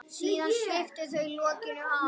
Síðan sviptu þau lokinu af.